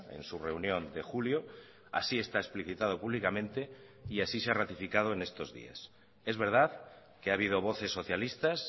en su reunión de julio así está explicitado públicamente y así se ha ratificado en estos días es verdad que ha habido voces socialistas